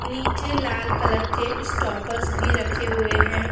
नीचे लाल कलर के स्टॉपर्स भी रखे हुए हैं।